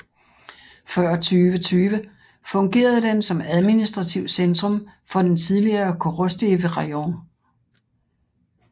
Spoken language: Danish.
Før 2020 fungerede den som administrativt centrum for den tidligere Korostysjiv rajon